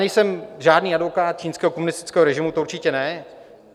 Nejsem žádný advokát čínského komunistického režimu, to určitě ne.